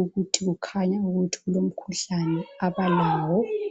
ukuthi kukhanya ukuthi kulomkhuhlane abalawo